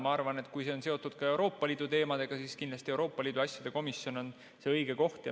Ma arvan, et kui see on seotud ka Euroopa Liidu teemadega, siis kindlasti Euroopa Liidu asjade komisjon on selleks õige koht.